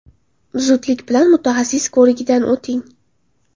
Zudlik bilan mutaxassis ko‘rigidan o‘ting.